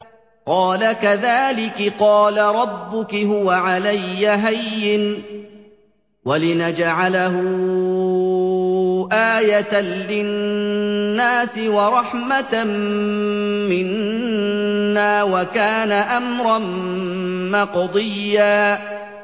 قَالَ كَذَٰلِكِ قَالَ رَبُّكِ هُوَ عَلَيَّ هَيِّنٌ ۖ وَلِنَجْعَلَهُ آيَةً لِّلنَّاسِ وَرَحْمَةً مِّنَّا ۚ وَكَانَ أَمْرًا مَّقْضِيًّا